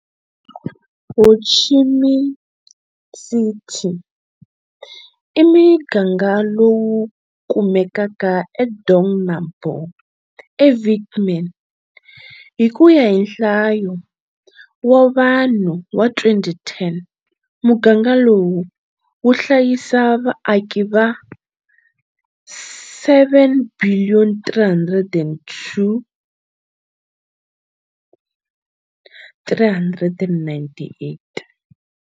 Ho Chi Minh City i muganga lowu kumekaka eDong Nam Bo, eVietnam. Hi kuya hi Nhlayo wa vanhu wa 2010, muganga lowu, wu hlayisa vaaki va 7,392,398.